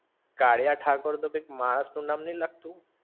કાળીયા ઠાકોર તો કઈક માણસ નું નામ નઇ લાગતું?